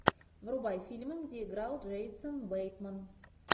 врубай фильмы где играл джейсон бейтман